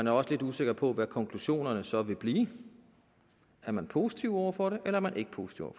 er også lidt usikre på hvad konklusionerne så vil blive er man positiv over for det er man ikke positiv